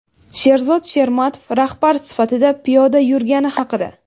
Sherzod Shermatov rahbar sifatida piyoda yurgani haqida.